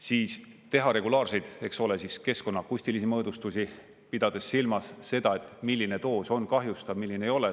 Siis teha regulaarseid, eks ole, siis keskkonna akustilisi mõõdistusi, pidades silmas seda, et milline doos on kahjustav, milline ei ole.